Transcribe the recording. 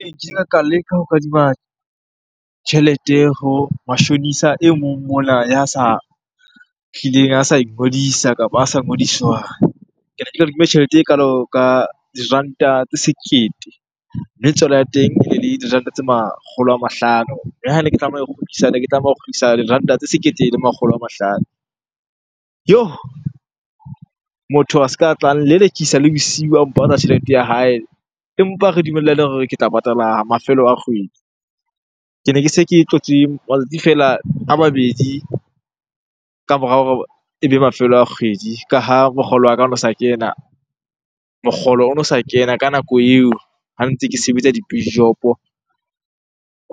Ee, kile ka leka ho kadima tjhelete ho mashonisa e mong mona ya sa hlileng a sa ingodisa kapa a sa ngodiswang. Ke ne ke kadimme tjhelete ekalo ka diranta tse sekete, mme tswalo ya teng e ne le diranta tse makgolo a mahlano. Le ha ne ke tlameha ho kgutlisa, ne ke tlameha ho kgutlisa diranta tse sekete le makgolo a mahlano. Yoh! Motho a se ka tla nlelekisa le bosiu a mpatla tjhelete ya hae, empa re dumellane hore ke tla patala mafelo a kgwedi. Ke ne ke se ke tlotse matsatsi feela a mabedi ka morao hore ebe mafelo a kgwedi. Ka ha mokgolo wa ka ono sa kena, mokgolo ono sa kena ka nako eo ha ntse ke sebetsa di .